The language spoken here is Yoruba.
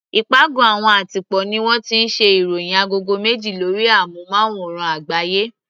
Ìpàgọ́ àwọn àtìpó ní wọ́n ti ṣe ìròhìn agogo méje lórí amúnmáwòrán àgbáyé.